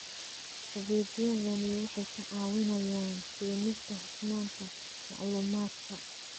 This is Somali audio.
Adeegyadani waxay ka caawinayaan keenista hufnaanta macluumaadka.